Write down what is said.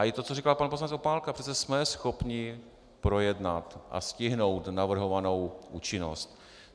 Ale i to, co říkal pan poslanec Opálka - přece jsme schopni projednat a stihnout navrhovanou účinnost.